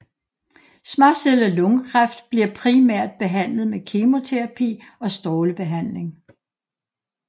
Småcellet lungekræft bliver primært behandlet med kemoterapi og strålebehandling